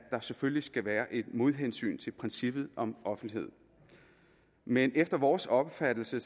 der selvfølgelig skal være et modhensyn til princippet om offentlighed men efter vores opfattelse